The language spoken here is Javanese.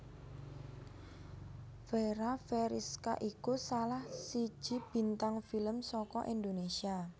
Fera Feriska iku salah siji bintang film saka Indonesia